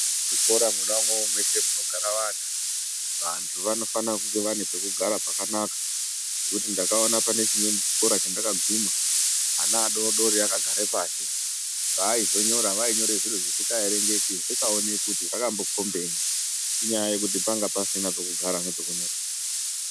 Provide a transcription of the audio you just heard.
Zvikora mwona umwomwo mweshe munogara anhu ,vantu vanofanire kunge vane pekugara pakanaka ngekuti ndakaona pane chimweni chikora chandakamboguma ana adodori akagare pashi paizonyora vainyore zviro zvisingaerekeki zvisikaoneki kuti zvakmbokombenyi inyaya yekuti pakanga pasina pekugara nepekunyorera.